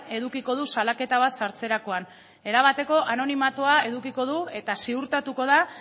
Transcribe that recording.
edukiko du salaketa bat sartzerakoan erabateko anonimatua edukiko du eta ziurtatuko da